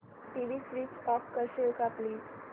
TV switch off करशील का please